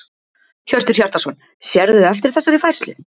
Hjörtur Hjartarson: Sérðu eftir þessari færslu?